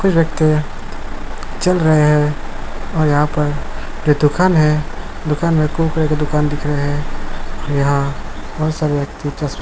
कुछ व्यक्ति हैं चल रहे हैं और यहाँ पर जो दुकान है दुकान में एक को दुकान दिख रहें है यहाँ बहुत सारे व्यक्ति तस --